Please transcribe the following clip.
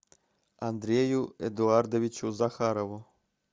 андрею эдуардовичу захарову